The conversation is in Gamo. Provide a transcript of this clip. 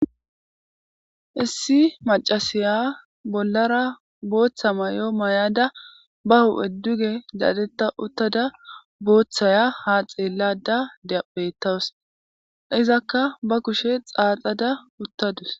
issi macasiya bollara booththa may7o may7ada ba hu7edduge dadetta uttada booththaya ha xeellada deapettawus izakka ba kushe xaaxada uttadus